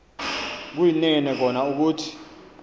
kuyinene kona ukuthi